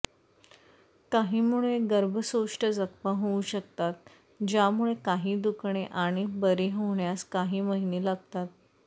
काहींमुळे गर्भशोष्ठ जखमा होऊ शकतात ज्यामुळे काही दुखणे आणि बरे होण्यास काही महिने लागतात